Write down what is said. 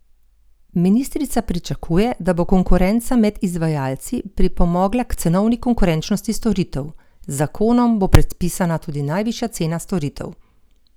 Ministrica pričakuje, da bo konkurenca med izvajalci pripomogla k cenovni konkurenčnosti storitev: "Z zakonom bo predpisana tudi najvišja cena storitev.